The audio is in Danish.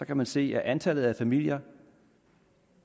kan man se at antallet af familier